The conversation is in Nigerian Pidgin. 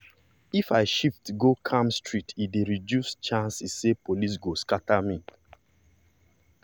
if i shift go calm street e dey reduce chance say police go scatter me.